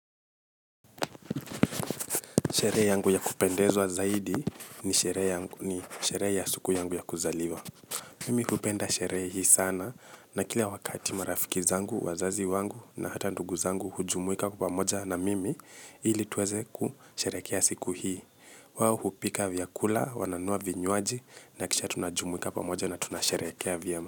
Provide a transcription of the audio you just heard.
Sherehe yangu ya kupendeza zaidi ni sherehe ya siku yangu ya kuzaliwa. Mimi hupenda sherehe hii sana na kila wakati marafiki zangu, wazazi wangu na hata ndugu zangu hujumuika kwapamoja na mimi ili tuweze kusherehekea siku hii. Wao hupika vyakula, wananunua vinywaji na kisha tunajumuika pamoja na tunasherehekea vyema.